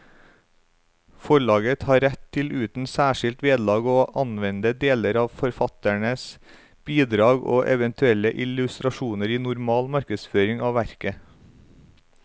Forlaget har rett til uten særskilt vederlag å anvende deler av forfatterens bidrag og eventuelle illustrasjoner i normal markedsføring av verket.